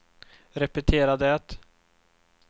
repetera det